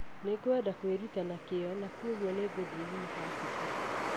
Nĩngwenda kwĩruta na kĩyo na kwoguo ngĩthiĩ yunivasĩtĩ